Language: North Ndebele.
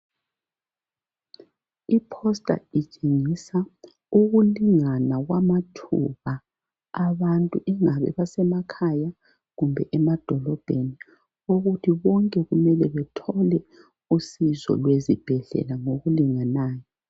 iphosta litshengisa ukulingana kwamathuba wabantu kungabi abesemakhaya kumbe abasemadolobheni ukuthi bonke kumele bethole usizo lwezibhedlela ngokulindanayo